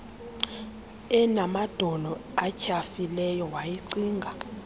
enamadolo atyhafileyo wayicinga